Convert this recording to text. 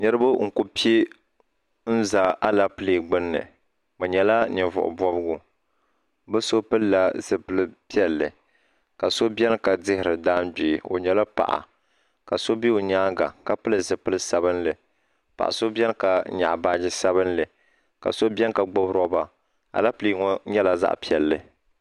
Niriba n ku pɛ n za alapele gbunni bi nyɛla invuɣu bɔbigu bi ao pili la zupiligu piɛlli ka so bɛni ka dihiri dangbee o yɛla paɣa ka so bɛ o yɛanga ka pili zupiligu sabinli paɣa so bɛni ka nyɛɣi baaji sabinli ka so bɛni ka gbubi rɔba alapele ŋɔ nyɛla zaɣi piɛlli.